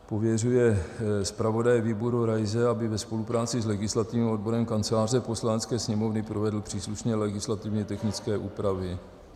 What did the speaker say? Pověřuje zpravodaje výboru Raise, aby ve spolupráci s legislativním odborem Kanceláře Poslanecké sněmovny provedl příslušné legislativně technické úpravy.